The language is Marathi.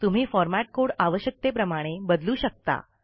तुम्ही फॉरमॅट कोड आवश्यकतेप्रमाणे बदलू शकता